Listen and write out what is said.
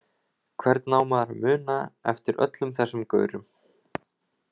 Hvernig á maður að muna eftir öllum þessum gaurum?